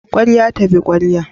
Ƙwarya ta bi ƙwarya